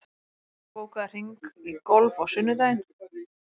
Hergerður, bókaðu hring í golf á sunnudaginn.